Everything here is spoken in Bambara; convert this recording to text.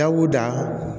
Dawuda